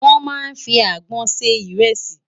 Wòn má n fi ágbòn sé irèsi